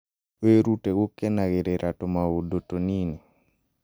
Wĩrute gũkenagĩra tũmaũndũ tũnini.